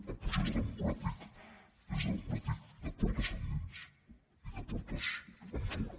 el procés democràtic és democràtic de portes endins i de portes enfora